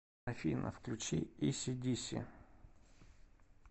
афина включи иси диси